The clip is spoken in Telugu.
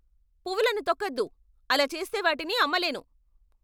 పువ్వులను తొక్కొద్దు! అలా చేస్తే వాటిని అమ్మలేను!